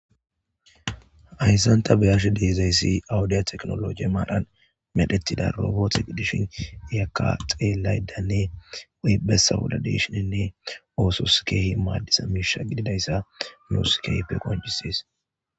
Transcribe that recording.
Hayssanta beyarshe deezayssi awudiya teknologe maadhan medhettida roboot gi dishin iyakka xeelaydanne weybessa woda deshinenne oosos keehi maaddisa miisha gididayssa nooskehpe qoncises